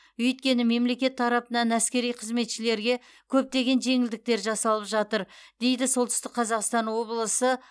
өйткені мемлекет тарапынан әскери қызметшілерге көптеген жеңілдіктер жасалып жатыр дейді солтүстік қазақстан облысы